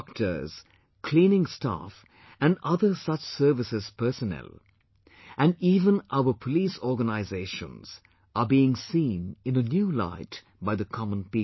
Doctors, cleaning staff and other such services personnel, and even our police organisations are being seen in a new light by the common people